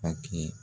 A kɛ